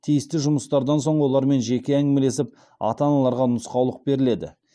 тиісті жұмыстардан соң олармен жеке әңгімелесіп ата аналарға нұсқаулық беріледі